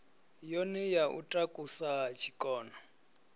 yone ya u takusa tshikona